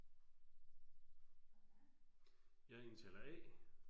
Jeg er indtaler A